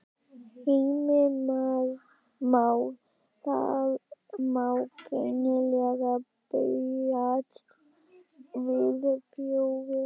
Heimir Már: Það má greinilega búast við fjöri?